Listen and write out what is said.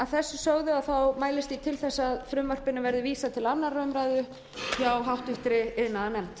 að þessu sögðu mælist ég til þess að frumvarpinu verði vísað til annarrar umræðu hjá háttvirtum iðnaðarnefnd